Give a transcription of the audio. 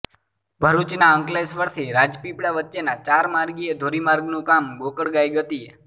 ભરૂચના અંકલેશ્વરથી રાજપીપળા વચ્ચેના ચાર માર્ગીય ધોરી માર્ગનું કામ ગોકળ ગાય ગતિએ